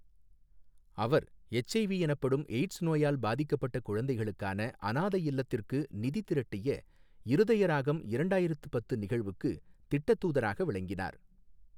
அவர், HIV எனப்படும் AIDS நோயால் பாதிக்கப்பட்ட குழந்தைகளுக்கான அனாதை இல்லத்திற்கு நிதி திரட்டிய இருதயராகம் இரண்டாயிரத்து பத்து நிகழ்வுக்கு திட்டத் தூதராக விளங்கினார்.